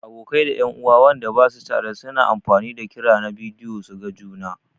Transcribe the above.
Abokai da en'uwa Wanda basu tare su na amfani da kira na bidiyo su gan juna.